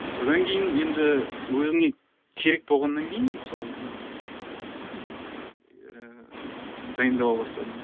содан кейін енді өзіңе керек болғаннан кейін мысалы ыыы мхм ыыы дайындала бастадым